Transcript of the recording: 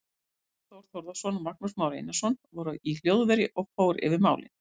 Tómas Þór Þórðarson og Magnús Már Einarsson voru í hljóðveri og fór yfir málin.